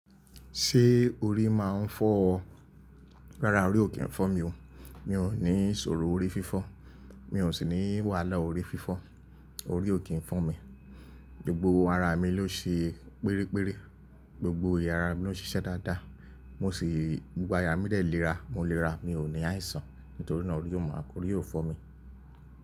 Ṣé orí máa ń fọ́ ọ? Rárá, orí ò kí ń fọ́ mi o. Mi ò ní ìṣòro orí fífọ́, mi ò sì ní wàhálà orí fífọ́. Orí ò kí ń fọ́ mi. Gbogbo ara mi ló ṣe pérére, gbogbo eya ara mi ló ń ṣiṣẹ́ dáadáa. Mo sì, gbogbo aya mí de lera, mo lè ra, mi ò ní àìsàn. Nítorí náà orí ò máa, orí ò fọ́ mi.